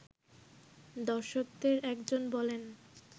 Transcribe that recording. দর্শকদের একজন বলেন